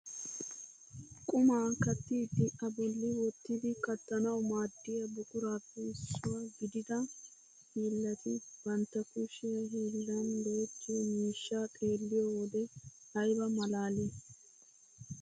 qumaa kattiidi a bolli wottidi kattanawu maaddiyaa buquraappe issuwaa gidida hiillati bantta kushiyaa hiillan go"ettiyoo miishshaa xeelliyoo wode ayba malaalii!